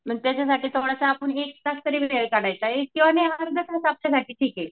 पण त्याच्यासाठी आपण थोडासा एक तास तरी वेळ काढायचा आहे किंवा ठीक ये.